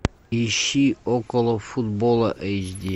ищи околофутбола эйч ди